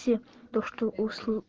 то что